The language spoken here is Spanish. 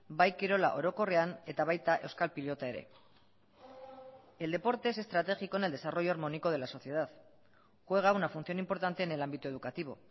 bai kirola orokorrean eta baita euskal pilota ere el deporte es estratégico en el desarrollo armónico de la sociedad juega una función importante en el ámbito educativo